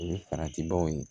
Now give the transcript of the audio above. O ye farati baw ye